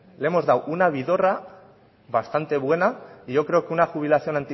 le hemos dado una vidorra bastante buena y yo creo que una jubilación